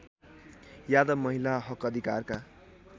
यादव महिला हकअधिकारका